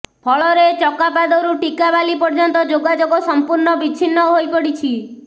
ଫଳରେ ଚକାପାଦରୁ ଟିକାବାଲି ପର୍ଯ୍ୟନ୍ତ ଯୋଗାଯୋଗ ସମ୍ପୂର୍ଣ ବିଚ୍ଛିନ୍ନ ହୋଇପଡିଛି